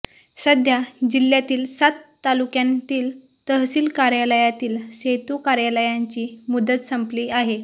सध्या जिल्ह्यातील सात तालुक्यांतील तहसील कार्यालयातील सेतू कार्यालयांची मुदत संपली आहे